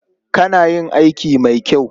Kana yin aiki mai kyau.